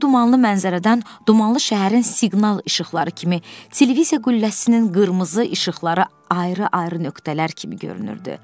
Bu dumanlı mənzərədən dumanlı şəhərin siqnal işıqları kimi televiziya qülləsinin qırmızı işıqları ayrı-ayrı nöqtələr kimi görünürdü.